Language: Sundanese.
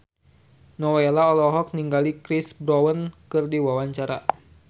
Nowela olohok ningali Chris Brown keur diwawancara